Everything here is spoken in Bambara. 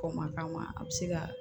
Kɔn ma k'a ma a bɛ se ka